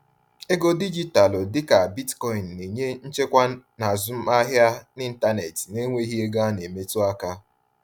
Ego dijitalụ dịka Bitcoin na-enye nchekwa n’azụmahịa n’ịntanetị na-enweghị ego a na-emetụ aka.